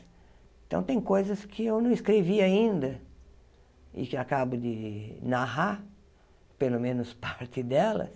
Então, tem coisas que eu não escrevi ainda e que acabo de narrar, pelo menos parte delas.